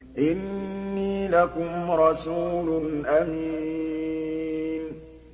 إِنِّي لَكُمْ رَسُولٌ أَمِينٌ